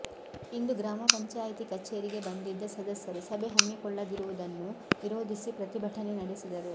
ಇಂದು ಗ್ರಾಮ ಪಂಚಾಯಿತಿ ಕಚೇರಿಗೆ ಬಂದಿದ್ದ ಸದಸ್ಯರು ಸಭೆ ಹಮ್ಮಿಕೊಳ್ಳದಿರುವುದನ್ನು ವಿರೋಧಿಸಿ ಪ್ರತಿಭಟನೆ ನಡೆಸಿದರು